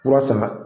Kura sama